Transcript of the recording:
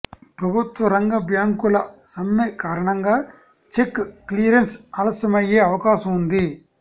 ప్రభుత్వ రంగ బ్యాంకుల సమ్మె కారణంగా చెక్ క్లియరెన్స్ ఆలస్యమయ్యే అవకాశం ఉంది